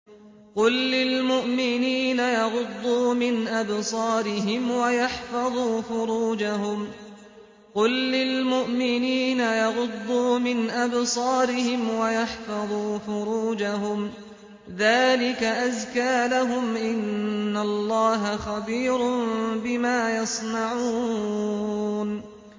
قُل لِّلْمُؤْمِنِينَ يَغُضُّوا مِنْ أَبْصَارِهِمْ وَيَحْفَظُوا فُرُوجَهُمْ ۚ ذَٰلِكَ أَزْكَىٰ لَهُمْ ۗ إِنَّ اللَّهَ خَبِيرٌ بِمَا يَصْنَعُونَ